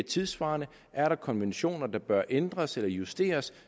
tidssvarende er der konventioner der bør ændres eller justeres